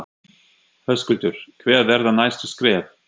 Höskuldur: Hver verða næstu skref?